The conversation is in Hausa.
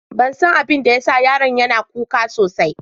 Ban san abin da ya sa yaron yana kuka sosai.